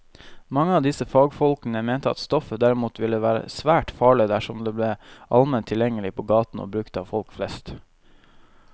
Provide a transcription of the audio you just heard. Mange av disse fagfolkene mente at stoffet derimot ville være svært farlig dersom det ble allment tilgjengelig på gaten og brukt av folk flest.